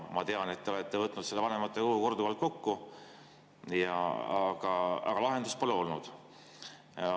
Ma tean, et te olete võtnud seda vanematekogu korduvalt kokku, aga lahendust pole tulnud.